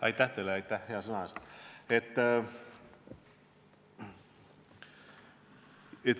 Aitäh teile hea sõna eest!